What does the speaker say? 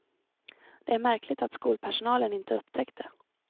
Det är märkligt att skolpersonalen inte upptäckt det.